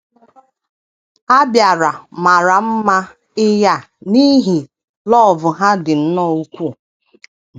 A bịara mara mma ị a n’ihi love ha dị nnọọ ukwuu.